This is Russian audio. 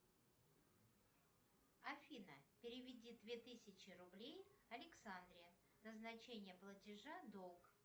афина переведи две тысячи рублей александре назначение платежа долг